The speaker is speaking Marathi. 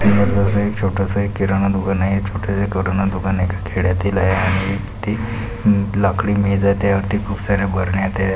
जसा एक छोटस एक किराना दुकान आहे. हे छोट किराना दुकान एका खेडयातील आहे आणि ती न लाकड़ी मेज आहे त्या वरती खूप सारया बरण्या आहेत.